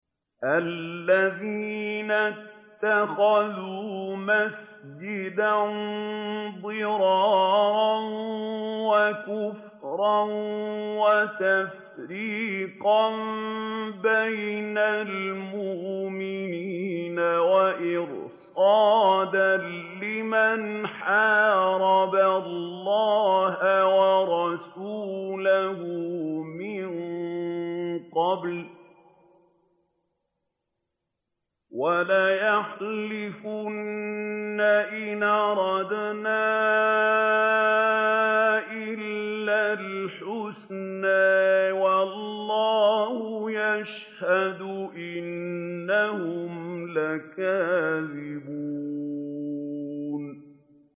وَالَّذِينَ اتَّخَذُوا مَسْجِدًا ضِرَارًا وَكُفْرًا وَتَفْرِيقًا بَيْنَ الْمُؤْمِنِينَ وَإِرْصَادًا لِّمَنْ حَارَبَ اللَّهَ وَرَسُولَهُ مِن قَبْلُ ۚ وَلَيَحْلِفُنَّ إِنْ أَرَدْنَا إِلَّا الْحُسْنَىٰ ۖ وَاللَّهُ يَشْهَدُ إِنَّهُمْ لَكَاذِبُونَ